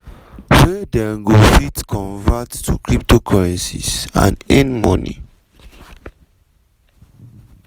wey dem go fit convert to cryptocurrencies and earn money.